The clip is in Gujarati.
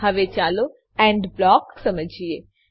હવે ચાલો એન્ડ બ્લોક સમજીએ